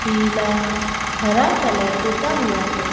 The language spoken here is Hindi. पीला हरा कलर पुता हुआ है।